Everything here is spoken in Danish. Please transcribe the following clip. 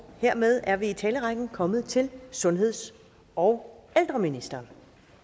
hermed er vi i talerrækken kommet til sundheds og ældreministeren